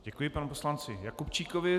Děkuji panu poslanci Jakubčíkovi.